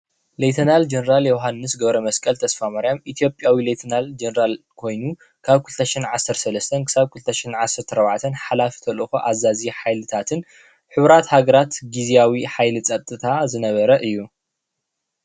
ሌተናል ጀነራል ዮሃንስ ገብረመስቀል ተስፋማሪያም ኢትዮጲያዊ ሌተናል ጀነራል ኮይኑ ካብ 2013 እስካብ 2014 ሓላፊ ተልእኮ ኣዛዚ ሓይልታትን ሕቡራት ሃገራት ግዝያዊ ሓይሊ ፅጥታ ዝነበረ እዩ።